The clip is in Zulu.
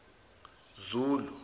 zulu